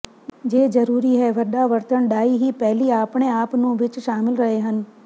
ਜੇ ਜਰੂਰੀ ਹੈ ਵੱਡਾ ਵਰਤਣ ਡਾਈ ਹੀ ਪਰਲੀ ਆਪਣੇ ਆਪ ਨੂੰ ਵਿੱਚ ਸ਼ਾਮਿਲ ਰਹੇ ਹਨ